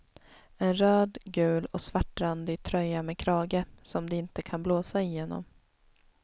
En röd, gul och svartrandig tröja med krage som det inte kan blåsa igenom.